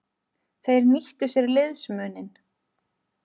Þeir nýttu sér liðsmuninn.